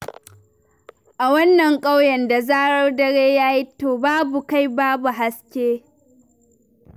A wannan ƙauyen, da zarar dare ya yi, to babu kai babu haske.